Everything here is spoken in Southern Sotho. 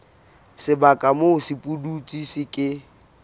sebaka moo sepudutsi se ke